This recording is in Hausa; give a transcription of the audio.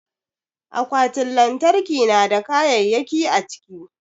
Akwatin lantarki na da kayayyaki a ciki.